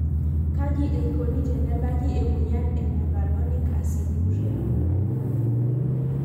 Kaji eikoni tenebaki emoyian e Mevalonic aciduria?